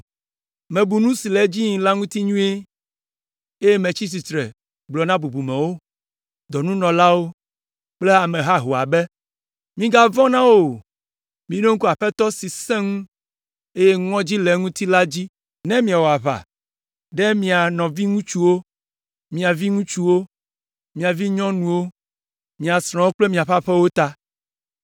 Mebu nu si le edzi yim la ŋuti nyuie, eye metsi tsitre gblɔ na bubumewo, dɔnunɔlawo kple ame haho la be, “Migavɔ̃ na wo o. Miɖo ŋku Aƒetɔ si sẽ ŋu, eye ŋɔdzi le eŋuti la dzi ne miawɔ aʋa ɖe mia nɔviŋutsuwo, mia viŋutsuwo, mia vinyɔnuwo, mia srɔ̃wo kple miaƒe aƒewo ta.”